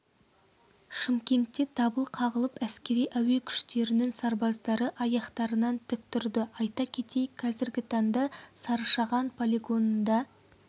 шымкентте дабыл қағылып әскери әуе күштерінің сарбаздары аяқтарынан тік тұрды айта кетейік қазіргі таңда сарышаған полигонында